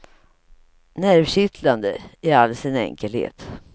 Nervkittlande, i all sin enkelhet.